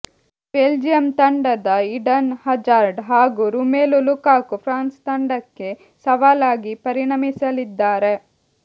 Belgium ತಂಡದ Eden Hazard ಹಾಗೂ Romelu Lukaku France ತಂಡಕ್ಕೆ ಸವಾಲಾಗಿ ಪರಿಣಮಿಸಲಿದ್ದಾರೆ